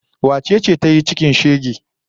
Wace ce ta yi cikin shege?